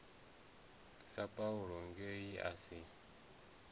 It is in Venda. sa paulo nge a si